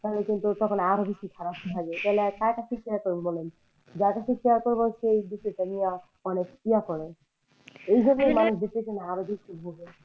তাহলে কিন্তু তখন আরও বেশি খারাপ লাগে তাহলে কার কাছে share করবে বলেন যার সাথে share করবো সেই যদি এটা নিয়ে অনেক ইয়ে করে এই জন্য মানুষ depression এ আরও বেশি ভোগে।